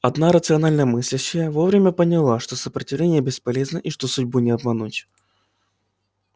одна рационально мыслящая вовремя поняла что сопротивление бесполезно и что судьбу не обмануть